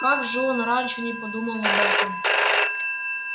как же он раньше не подумал об этом